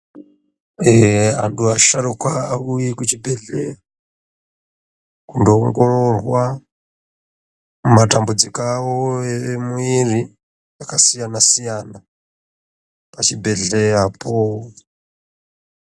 Antu asharukwa auye kuchi bhedhleya kundo ongororwa matambudziko avo emwiri akasiyana siyana pachi bhedhleyapo.